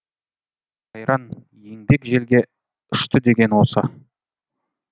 қайран еңбек желге ұштыдеген осы